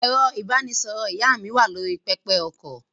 Ẹ̀rọ-ìbánisọ̀rọ̀ ìyá mi wà lórí pẹpẹ-okọ̀.